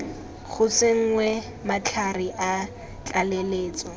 go tsenngwe matlhare a tlaleletso